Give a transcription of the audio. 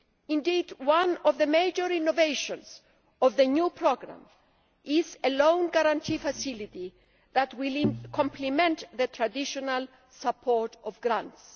Indeed, one of the major innovations of the new programme is a loan guarantee facility that will complement the traditional support of grants.